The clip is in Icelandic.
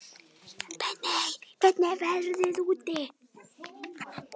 Benney, hvernig er veðrið úti?